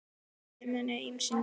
Æxli í munni eru af ýmsum gerðum.